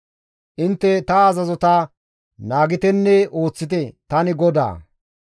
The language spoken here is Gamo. «Intte ta azazota naagitenne ooththite; tani GODAA.